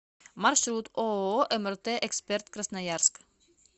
маршрут ооо мрт эксперт красноярск